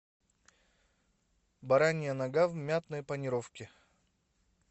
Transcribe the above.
баранья нога в мятной панировке